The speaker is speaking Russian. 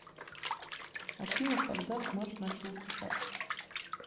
афина когда смэш начал выступать